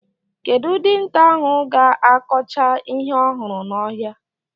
Kedụ dinta ahụ ga-akọcha ihe ọhụrụ n'ọhịa?